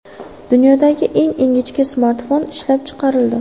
Dunyodagi eng ingichka smartfon ishlab chiqarildi.